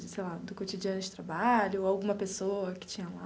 Sei lá, do cotidiano de trabalho, alguma pessoa que tinha lá?